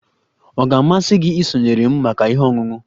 Ọ ga-amasị gị isonyere m maka ihe ọṅụṅụ?